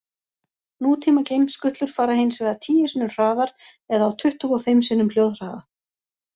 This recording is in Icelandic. Nútíma geimskutlur fara hins vegar tíu sinnum hraðar eða á tuttugu og fimm sinnum hljóðhraða.